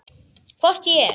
Hvort ég er.